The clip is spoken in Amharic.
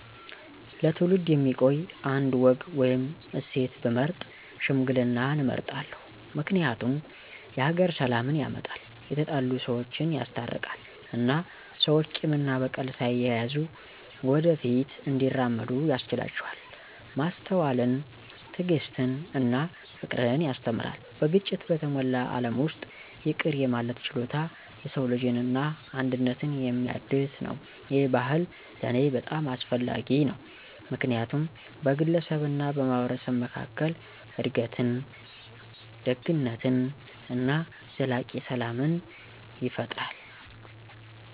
ለትውልድ የሚቆይ አንድ ወግ ወይም እሴት ብመርጥ ሽምግልናን እመርጣለሁ። ምክንያቱም የሀገር ሰላምን ያመጣል፣ የተጣሉ ሰወችን ያስታርቃል እና ሰዎች ቂም እና በቀል ሳይያዙ ወደ ፊት እንዲራመዱ ያስችላቸዋል። ማስተዋልን፣ ትዕግስትን እና ፍቅርን ያስተምራል። በግጭት በተሞላ ዓለም ውስጥ ይቅር የማለት ችሎታ የሰው ልጅን እና አንድነትን የሚያድስ ነው። ይህ ባህል ለእኔ በጣም አስፈላጊ ነው ምክንያቱም በግለሰብ እና በማህበረሰብ መካከል እድገትን፣ ደግነትን እና ዘላቂ ሰላም ይፈጥራል።